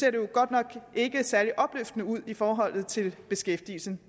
at det godt nok ikke ser særlig opløftende ud i forhold til beskæftigelsen